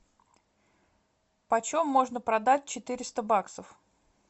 почем можно продать четыреста баксов